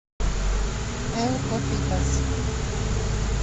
эл копитас